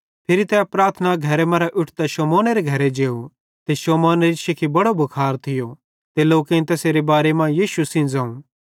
फिरी तै प्रार्थना घरे मरां उट्ठतां शमौनेरे घरे जेव ते शमौनेरी शिखी बड़ो भुखार थियो ते लोकेईं तैसारे बारे मां यीशु सेइं ज़ोवं